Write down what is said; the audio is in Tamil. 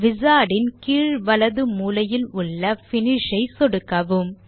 Wizard ன் கீழ் வலது மூலையில் உள்ள Finish ஐ சொடுக்கவும்